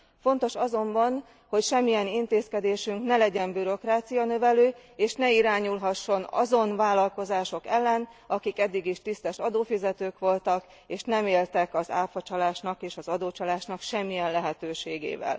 Fontos azonban, hogy semmilyen intézkedésünk ne legyen bürokrácianövelő és ne irányulhasson azon vállalkozások ellen, akik eddig is tisztes adófizetők voltak és nem éltek az áfacsalásnak és az adócsalásnak semmilyen lehetőségével.